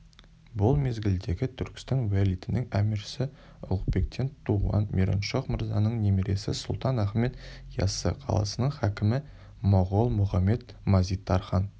бұл мезгілдегі түркістан уәлиетінің әміршісі ұлықбектен туған мираншох-мырзаның немересі сұлтан ахмед яссы қаласының хакімі моғол мұхамед-мазит-тархан